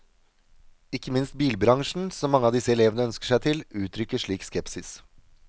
Ikke minst bilbransjen, som mange av disse elevene ønsker seg til, uttrykker slik skepsis.